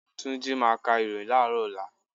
Túnjí máa ka ìròhìn láàrọ́ ọ̀la.